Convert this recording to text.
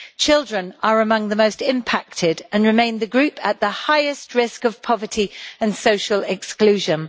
Children are among the most impacted and remain the group at the highest risk of poverty and social exclusion.